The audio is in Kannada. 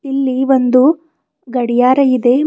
ಇಲ್ಲಿ ಒಂದು ಗಡಿಯಾರ ಇದೆ ಮ--